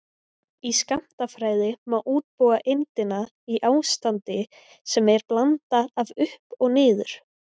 Í skammtafræði má útbúa eindina í ástandi sem er blanda af upp og niður.